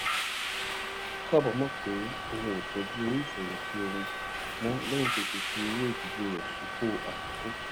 ó kábàámò pé òun ò tójú owó ìfèyìntì òun mó léyìn tó ti fi owó ìdílé rè sípò àkókó